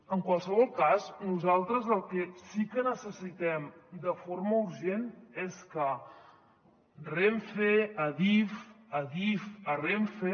en qualsevol cas nosaltres el que sí que necessitem de forma urgent és que renfe a adif adif a renfe